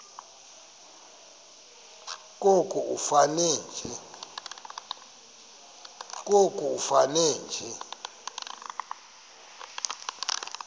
koko ifane nje